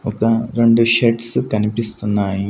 ఒక రెండు షర్ట్స్ కనిపిస్తున్నాయి.